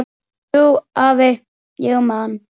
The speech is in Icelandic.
Jú, afi, ég man.